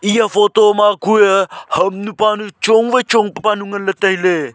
eya photo ma kue hamnu panu chong wai chong pa panu ngan le taile.